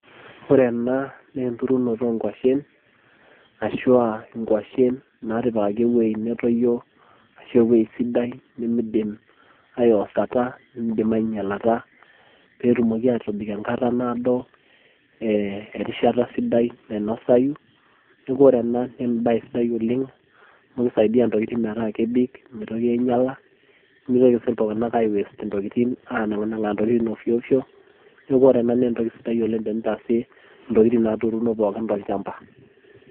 Ore ena, naa enturunoto onkwashen, ashua nkwashen natipikaki ewei netoyio ashu ewei sidai, nimidim aiwosata nimidim ainyalata, petumoki atobik enkata naado, eh erishata sidai nainosayu. Neeku ore ena, na ebae sidai oleng amu kisaidia ntokiting' metaa kebik, mitoki ainyala, nimitoki si iltung'anak ai waste intokiting' anang'nang'aa ntokiting' ofio ofio. Neeku ore ena na entoki sidai tenintaasie intokiting' naturuno pookin tolchamba.